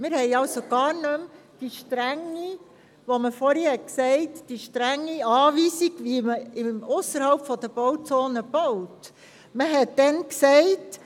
Die strenge Anweisung, wie ausserhalb der Bauzone gebaut werden soll, gibt es also nicht mehr.